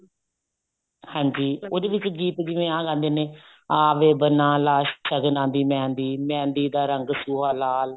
ਹਾਂਜੀ ਉਹਦੇ ਵਿੱਚ ਗੀਤ ਜਿਵੇਂ ਆਹ ਗਾਉਂਦੇ ਨੇ ਆ ਵੇ ਬੰਨਾ ਲਾ ਸ਼ਗਨਾ ਦੀ ਮਹਿੰਦੀ ਮਹਿੰਦੀ ਦਾ ਰੰਗ ਸੂਹਾ ਲਾਲ